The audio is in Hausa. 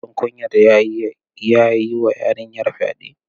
Shin kun yarda ya yiwa yarinyar fyaɗe?